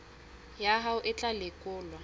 ya hao e tla lekolwa